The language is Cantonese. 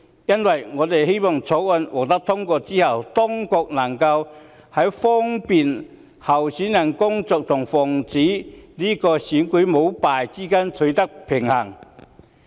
因此，我們希望在《條例草案》獲得通過後，當局能在利便候選人工作和防止選舉舞弊之間取得平衡。